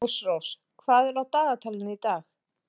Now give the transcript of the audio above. Ásrós, hvað er á dagatalinu í dag?